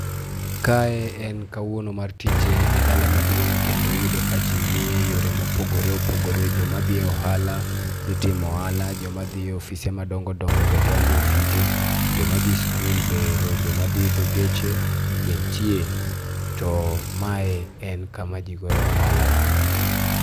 Kae en kawuono mar tije e dala maduong' kendo iyudo ka ji ni e yore mopogoreopogore, joma dhi e ohala dhi timo ohala, joma dhi e ofise madongodongo be dhi e ofise, to joka dhi e sikul be ero, to joma dhi e geche be nitie. To ma en kama ji goyoe ohala.